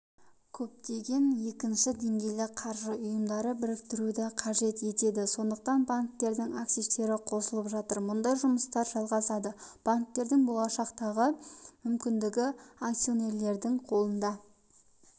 көптеген екінші деңгейлі қаржы ұйымдары біріктіруді қажет етеді сондықтан банктердің активтері қосылып жатыр мұндай жұмыстар жалғасады банктердің болашақтағы мүмкіндігі акционерлердің қолында